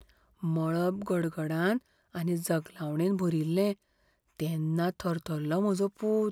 मळब गडगडान आनी जगलावणेन भरिल्लें तेन्ना थरथरलो म्हजो पूत.